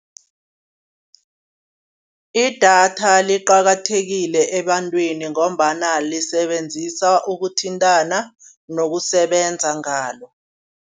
Idatha liqakathekile ebantwini ngombana lisebenzisana ukuthintana, nokusebenza ngalo.